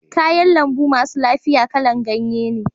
Kayan lambu masu lafiya kala'n ganye ne.